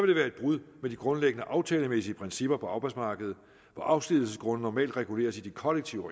det være et brud med de grundlæggende aftalemæssige principper på arbejdsmarkedet hvor afskedigelsesgrunde normalt reguleres i de kollektive